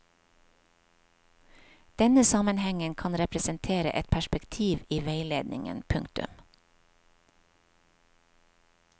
Denne sammenhengen kan representere et perspektiv i veiledningen. punktum